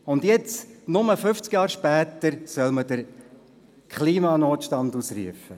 Und jetzt, nur fünfzig Jahre später, soll man den Klimanotstand ausrufen?